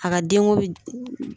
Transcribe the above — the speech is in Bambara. A ka denko bɛ